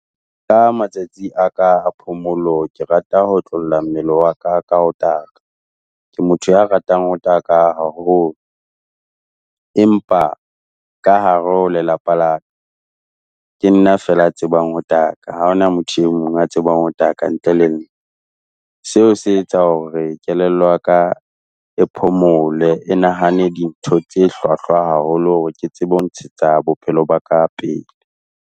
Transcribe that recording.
Ka matsatsi a ka a phomolo ke rata ho otlolla mmele wa ka ka ho taka, ke motho ya ratang ho taka haholo. Empa ka hare ho lelapa laka, ke nna feela motho ya tsebang ho taka, ha hona motho e mong ya tsebang ho taka ntle le nna. Seo se etsa hore kelello ya ka e phomole, e nahane dintho tse hlwahlwa haholo hore ke tsebe ho ntshetsa bophelo ba ka pele.